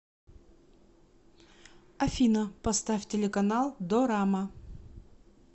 афина поставь телеканал дорама